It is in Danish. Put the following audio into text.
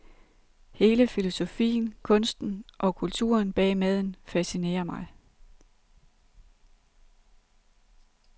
Hele filosofien, kunsten og kulturen bag maden fascinerer mig.